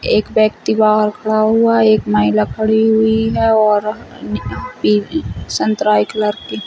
एक व्यक्ति बाहर खड़ा हुआ एक महिला खड़ी हुई है और ये पे संतराये कलर की--